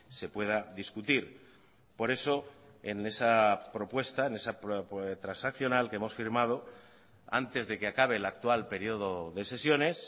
se pueda discutir por eso en esa propuesta en esa transaccional que hemos firmado antes de que acabe el actual periodo de sesiones